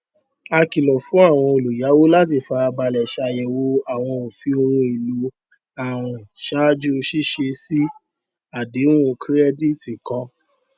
a kìlọ fún àwọn olùyàwó láti fara balẹ ṣàyẹwò àwọn òfin ohun èlò àwìn ṣáájú ṣíṣe sí àdéhùn kirẹdìtì kan